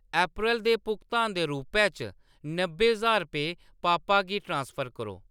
अप्रैल दे भुगतान दे रूपै च नब्बै ज्हार रपेऽ पापा गी ट्रांसफर करो ।